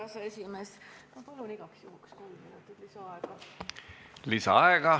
Härra aseesimees, ma palun igaks juhuks kolm minutit lisaaega.